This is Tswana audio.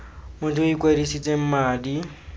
motho yo o ikwadisitseng madi